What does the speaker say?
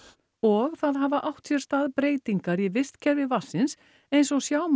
og það hafa átt sér stað breytingar í vistkerfi vatnsins eins og sjá má